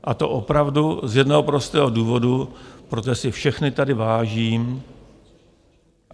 A to opravdu z jednoho prostého důvodu, protože si všech tady vážím.